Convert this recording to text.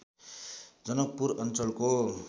जनकपुर अञ्चलको